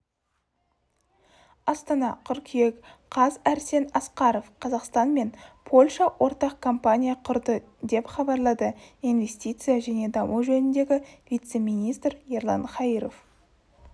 астана қыркүйек қаз арсен асқаров қазақстан мен польша ортақ компания құрды деп хабарлады инвестция және даму жөніндегі вице-министр ерлан хаиров